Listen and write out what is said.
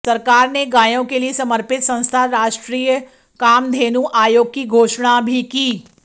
सरकार ने गायों के लिए समर्पित संस्था राष्ट्रीय कामधेनु आयोग की घोषणा भी की